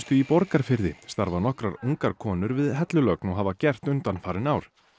í Borgarfirði starfa nokkrar ungar konur við hellulögn og hafa gert undanfarin ár